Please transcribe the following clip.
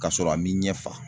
Kasɔrɔ a m'i ɲɛ fa